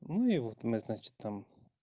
ну и вот мы значит там